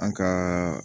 An ka